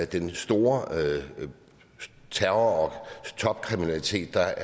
den store terror og topkriminalitet der